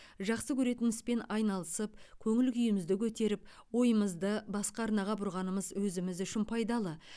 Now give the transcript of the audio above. жақсы көретін іспен айналысып көңіл күйімізді көтеріп ойымызды басқа арнаға бұрғанымыз өзіміз үшін пайдалы